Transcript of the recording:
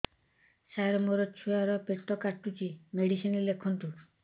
ସାର ମୋର ଛୁଆ ର ପେଟ କାଟୁଚି ମେଡିସିନ ଲେଖନ୍ତୁ